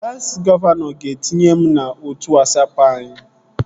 Klassi gọvanọ ga-etinye m n'otu Wasapụ anyị